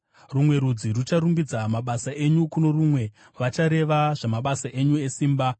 Rumwe rudzi rucharumbidza mabasa enyu kuno rumwe; vachareva zvamabasa enyu esimba.